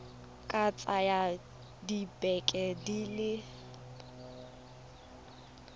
ka tsaya dibeke di le